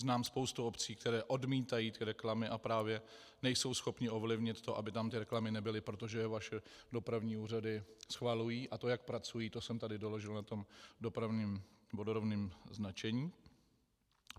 Znám spoustu obcí, které odmítají ty reklamy, a právě nejsou schopny ovlivnit to, aby tam ty reklamy nebyly, protože je vaše dopravní úřady schvalují, a to jak pracují, to jsem tady doložil na tom dopravním vodorovném značení.